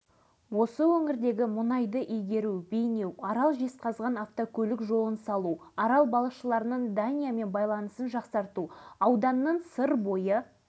күншілдер мен қызғаншақтардың аяқтан шалған жымысқы әрекеттеріне қарамастан ол туған аралының жарқын болашағы үшін жан аямай еңбек етті